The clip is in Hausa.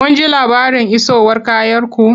Kun ji labarin isowar kayanku?